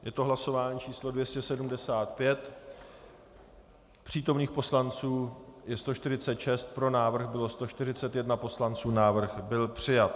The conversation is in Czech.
Je to hlasování číslo 275, přítomných poslanců je 146, pro návrh bylo 141 poslanců, návrh byl přijat.